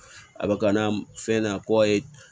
A bɛ ka n'a fɛn na kɔye